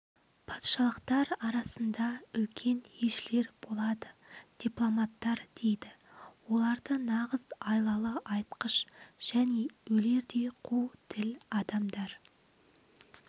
патшалықтар арасында үлкен елшілер болады дипломаттар дейді оларды нағыз айлалы айтқыш және өлердей қу тіл адамдар